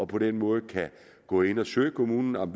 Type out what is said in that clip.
på den måde kan gå ind at søge kommunen om